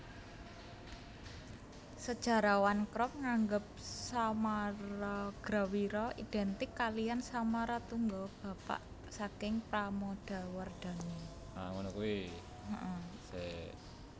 Sejarawan Krom nganggep Samaragrawira identik kaliyan Samaratungga bapak saking Pramodawardhani